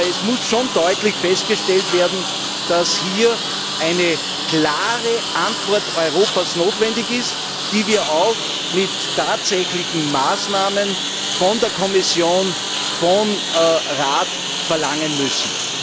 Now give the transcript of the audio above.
Aber es muss schon deutlich festgestellt werden, dass hier eine klare Antwort Europas notwendig ist, die wir auch in Form konkreter Maßnahmen von der Kommission und vom Rat verlangen müssen.